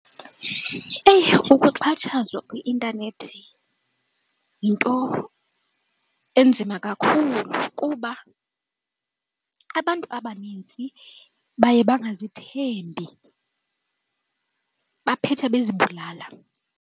Eyi! Ukuxhatshazwa kwi-intanethi yinto enzima kakhulu kuba abantu abanintsi baye bangazithembi baphethe bezibulala.